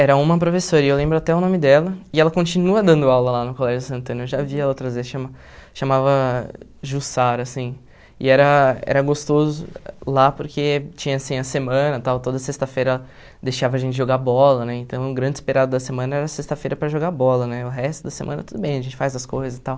Era uma professora, e eu lembro até o nome dela, e ela continua dando aula lá no Colégio Santana, eu já vi ela trazer, chama chamava Jussara, assim, e era era gostoso lá porque tinha, assim, a semana e tal, toda sexta-feira deixava a gente jogar bola, né, então o grande esperado da semana era sexta-feira para jogar bola, né, o resto da semana tudo bem, a gente faz as coisas e tal.